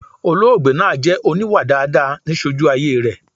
Olóògbé naa jẹ oníwà daadaa ni sojú ayé rẹ̀